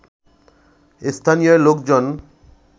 স্থানীয় লোকজন